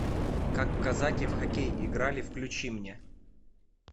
как казаки в хоккей играли включи мне